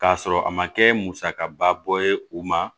K'a sɔrɔ a ma kɛ musakaba bɔ ye u ma